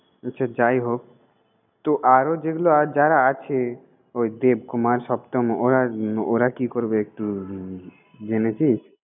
সে যাই হোক তো আরও যেগুলো আরও যারা আছে, ওই দেবকুমার, সপ্তম ওরা উম ওরা কি করবে একটু জেনেছিস?